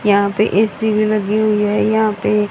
यहां पे ए_सी भी लगी हुई है। यहां पे--